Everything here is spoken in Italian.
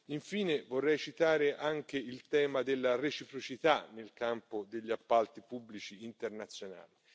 Infine, vorrei citare anche il tema della reciprocità nel campo degli appalti pubblici internazionali.